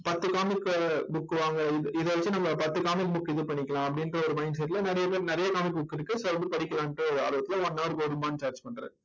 பத்து comic book வாங்க இது வெச்சு நம்ம பத்து comic book இது பண்ணிக்கலாம் அப்படின்ற ஒரு mindset ல நிறைய பேர் நிறைய comic book இருக்கு. so வந்து படிக்கலான்னுட்டு ஆர்வத்தில one hour க்கு ஒரு ரூபாய்ன்னு charge பண்றார்